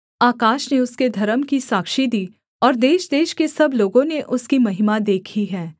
आकाश ने उसके धर्म की साक्षी दी और देशदेश के सब लोगों ने उसकी महिमा देखी है